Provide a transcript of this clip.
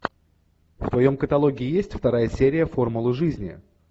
в твоем каталоге есть вторая серия формулы жизни